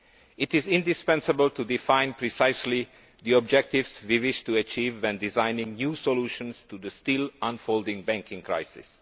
It is indispensable to define precisely the objectives we wish to achieve when designing new solutions to the still unfolding banking crisis.